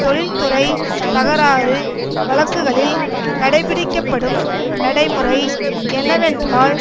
தொழிற்துறை தகராறு வழக்குகளில் கடைபிடிக்கப்படும் நடைமுறை என்னவென்றால்